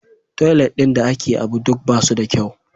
Toilet ɗin da ke ABU duk ba su da kyau.